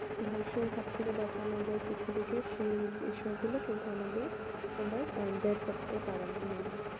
ধ্বংসের হাত থেকে বাঁচানো যায় পৃথিবী কে সেই বিষয়গুলো কিন্তু আমাদের আমরা ব্যয় করতে পারবো না